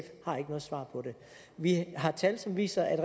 har ikke noget svar på det vi har tal som viser at